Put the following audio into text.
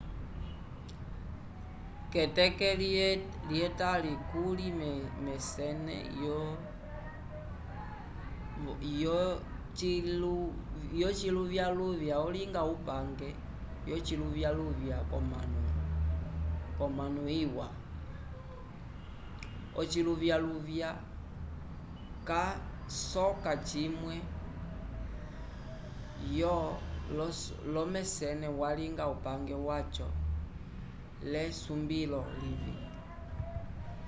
keteke lye tali kuly mesene yo ciluvyaluvya olinga upange yo ciluvyaluvya ko mano iwa ociluvyaluvya ca soka cimwe yo lomesene valinga upange waco le sumbilo livi